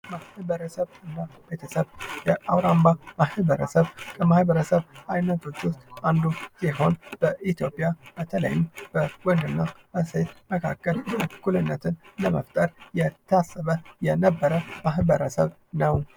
ቤተሰብና ማህበረሰብ ውስጥ የአውራምባ ማህበረሰብ ከማህበረሰብ አይነቶች ውስጥ አንዱ ሲሆን በኢትዮጵያ በተለይም በወንድና ሴት መካከል እኩልነትን ለመፍጠር የታሰበ የነበረ ማህበረሰብ ነው ።